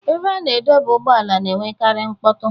Ebe a na-adọba ụgbọala na-enwekarị mkpọtụ.